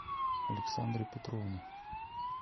александре петровне